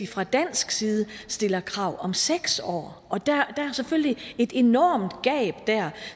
fra dansk side stiller krav om seks år og der er selvfølgelig et enormt gab der